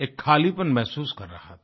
एक खालीपन महसूस कर रहा था